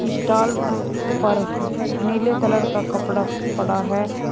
Stall पर नीले colour का कपड़ा पड़ा है।